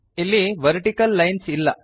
ಇಲ್ಲಿ vertical lines ಇಲ್ಲ